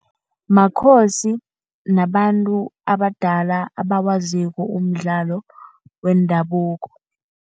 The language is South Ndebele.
Makhosi nabantu abadala abawaziko umdlalo wendabuko.